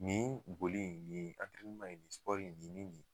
Nin boli in nin in in , nin ni nin .